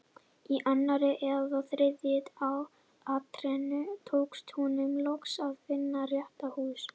Í annarri eða þriðju atrennu tókst honum loks að finna rétt hús.